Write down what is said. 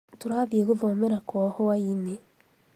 turathie guthomera kwao hwainĩ